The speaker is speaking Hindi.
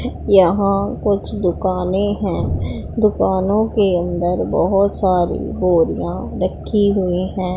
यहां कुछ दुकानें हैं दुकानों के अंदर बहुत सारी बोरियां रखी हुई हैं।